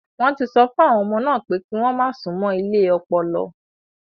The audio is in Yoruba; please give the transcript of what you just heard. Wọ́n ti sọ fún àwọn ọmọ náà pé kí wọ́n má súnmọ́ ilé ọpọlọ.